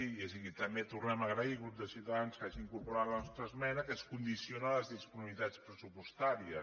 i aquí també tornem a agrair al grup de ciutadans que hagi incorporat la nostra esmena que es condiciona a les disponibilitats pressupostàries